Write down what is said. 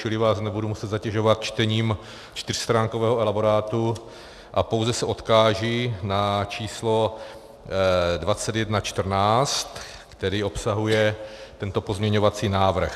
Čili vás nebudu muset zatěžovat čtením čtyřstránkového elaborátu a pouze se odkážu na číslo 2114, které obsahuje tento pozměňovací návrh.